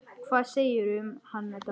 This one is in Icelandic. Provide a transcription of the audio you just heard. Hvað segirðu um hann, Edda?